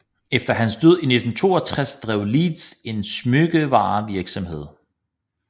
Efter hans død i 1962 drev Leeds en smykkevarevirksomhed